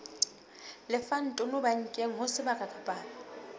lefang tonobankeng ho sebaka kapa